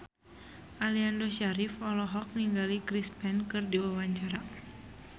Aliando Syarif olohok ningali Chris Pane keur diwawancara